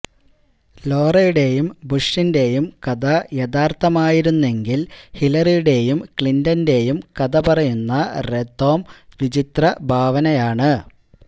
ലോറയുടെയും ബുഷിന്റെയും കഥ യഥാര്ഥമായിരുന്നെങ്കില് ഹിലറിയുടെയും ക്ലിന്റന്റെയും കഥ പറയുന്ന റൊധാം വിചിത്ര ഭാവനയാണ്